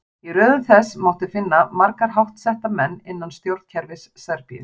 Í röðum þess mátti finna marga háttsetta menn innan stjórnkerfis Serbíu.